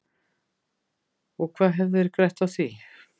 Og hvað hefðu þeir grætt á því?